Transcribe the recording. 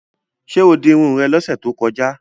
Ṣé o di irun rẹ lọ́sẹ̀ tó kọjá?